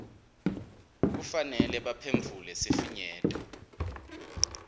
kufanele baphendvule sifinyeto